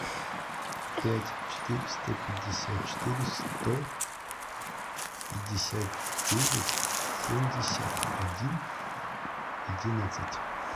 пять четыреста пятьдесят четыре сто пятьдесят девять семьдесят один одиннадцать